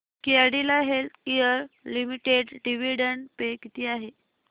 Cadila healthcare limited dividend pay किती आहे